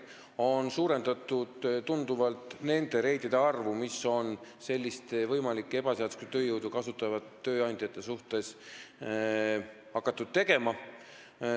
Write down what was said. Tunduvalt on suurendatud nende reidide arvu, mida on hakatud tegema võimalike ebaseaduslikku tööjõudu kasutavate tööandjate juurde.